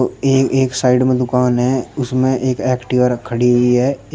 यह एक साइड में दुकान है इसमें एक एक्टिवा खड़ी हुई है।